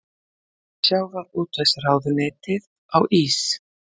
Sjávarútvegsráðuneytið á ís